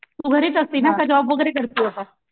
तू घरीच असतेना की जॉब वगैरे करते आता?